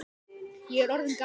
Ég er orðinn gamall.